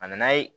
A nana ye